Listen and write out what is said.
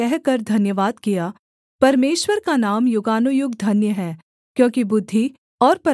परमेश्वर का नाम युगानुयुग धन्य है क्योंकि बुद्धि और पराक्रम उसी के हैं